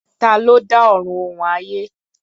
Ta ló dá Ọ̀run òun ayé?